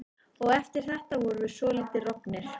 Og eftir þetta vorum við svolítið roggnir.